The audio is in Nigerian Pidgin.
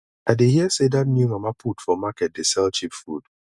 i dey hear sey dat new mama put for market dey sell cheap food